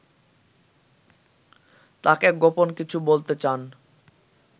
তাঁকে গোপন কিছু বলতে চান